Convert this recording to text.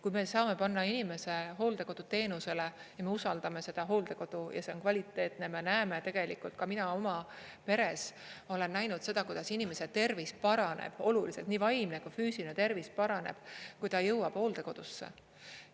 Kui me saame panna inimese hooldekoduteenusele ja me usaldame seda hooldekodu ja see on kvaliteetne, me näeme tegelikult, ka mina oma peres olen näinud seda, kuidas inimese tervis paraneb oluliselt, nii vaimne kui füüsiline tervis paraneb, kui ta jõuab hooldekodusse.